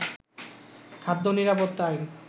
খাদ্য নিরাপত্তা আইন